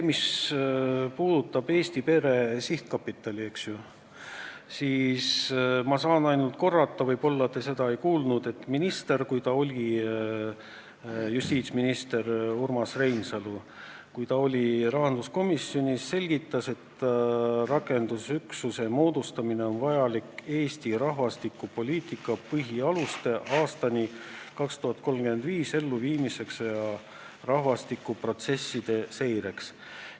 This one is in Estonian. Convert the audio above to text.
Mis puudutab Eesti Pere Sihtkapitali, siis ma saan ainult korrata – võib-olla te seda ei kuulnud –, et justiitsminister Urmas Reinsalu, kui ta oli rahanduskomisjonis, selgitas, et selle rakendusüksuse moodustamine on vajalik, et ellu viia Eesti rahvastikupoliitika põhialused aastani 2030 ja rahvastikuprotsesside seireks.